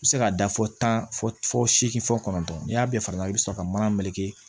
I bɛ se ka da fɔ tan fɔ seegin fɔ kɔnɔntɔn ni y'a bɛɛ fara i bɛ sɔrɔ ka mana meleke